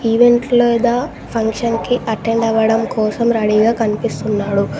Event లేదా function కి attend అవ్వడం కోసం రెడీగా కనిపిస్తున్నాడు.